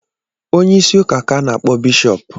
Onye isi ụka ka a na-akpọ Bishọp